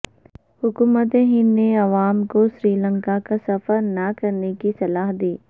حکومت ہند نے عوام کو سری لنکا کا سفرنہ کرنے کی صلاح دی